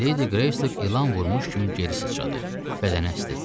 Ledi Qreystok ilan vurmuş kimi geri sıçradı, bədəni əsdi.